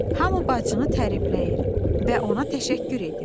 Hamı bacını tərifləyir və ona təşəkkür edir.